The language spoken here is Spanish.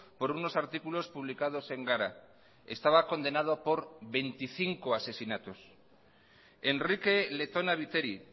por unos artículos publicados en gara estaba condenado por veinticinco asesinatos enrique letona viteri